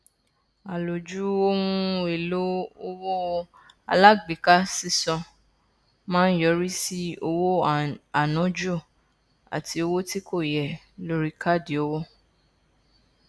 àlòjù ohun èlò owó alágbèéká sísan máa ń yọrí sí owó ànájù àti owó tí kò yẹ lórí káàdì owó